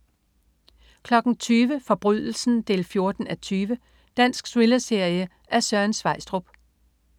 20.00 Forbrydelsen 14:20. Dansk thrillerserie af Søren Sveistrup